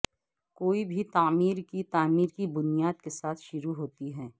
کوئی بھی تعمیر کی تعمیر کی بنیاد کے ساتھ شروع ہوتی ہے